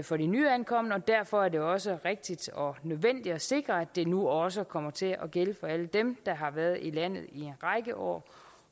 for de nyankomne og derfor er det også rigtigt og nødvendigt at sikre at det nu også kommer til at gælde for alle dem der har været i landet i en række år